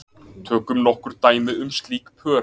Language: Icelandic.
Tökum nokkur dæmi um slík pör.